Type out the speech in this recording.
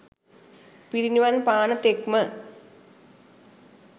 පිරිනිවන් පාන තෙක්ම